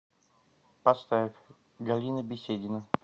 поставь галина беседина